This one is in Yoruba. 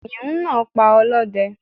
kìnìún náa pa olóde